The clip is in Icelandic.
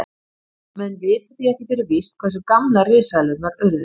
Menn vita því ekki fyrir víst hversu gamlar risaeðlur urðu.